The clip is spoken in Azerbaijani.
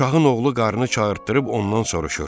Şahın oğlu qarnı çağırdıb ondan soruşur: